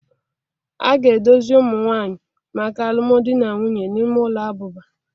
A ga-edozi ụmụ nwanyị maka alụmdi na nwunye n'ime ụlọ abụba